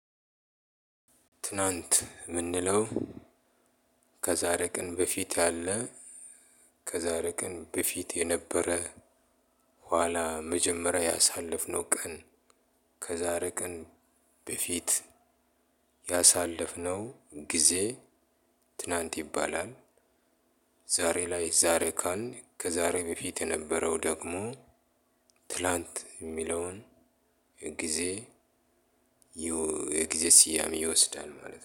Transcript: ትናንት የምንለው ከዛሬ ቀን በፊት ያለ ከዛሬ ቀን በፊት የነበረ ኋላ መጀመሪያ ያሳለፍነው ቀን ከዛሬ ቀን በፊት ያሳለፍነው ጊዜ ትናንት ይባላል። ዛሬ ላይ ዛሬ ካልን ከዛሬ በፊት የነበረው ደግሞ ትላንት የሚለውን ጊዜ የጊዜ ስያሜ ይወስዳል ማለት ነው